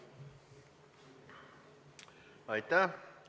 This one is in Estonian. Aitäh!